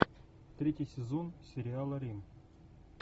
третий сезон сериала рим